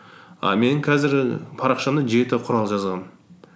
і мен қазір парақшамда жеті құрал жазамын